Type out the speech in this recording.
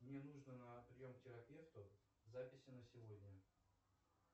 мне нужно на прием к терапевту записи на сегодня